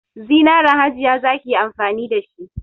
Zinaran Hajiya za ki yi amfani da shi.